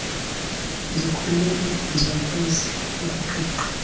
ndikhulile ndiyakwazi ukuqiqa